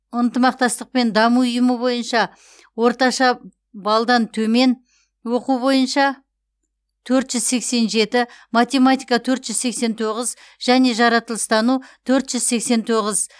ынтымақтастық пен даму ұйымы бойынша орташа балдан төмен оқу бойынша төрт жүз сексен жеті математика төрт жүз сексен тоғыз және жаратылыстану төрт жүз сексен тоғыз